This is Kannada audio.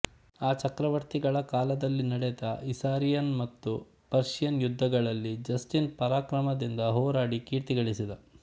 ಆ ಚಕ್ರವರ್ತಿಗಳ ಕಾಲದಲ್ಲಿ ನಡೆದ ಇಸಾರಿಯನ್ ಮತ್ತು ಪರ್ಷಿಯನ್ ಯುದ್ಧಗಳಲ್ಲಿ ಜಸ್ಟಿನ್ ಪರಾಕ್ರಮದಿಂದ ಹೋರಾಡಿ ಕೀರ್ತಿ ಗಳಿಸಿದ